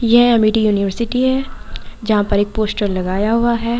ये Amity University है जहाँ पर एक पोस्टर लगाया हुआ है।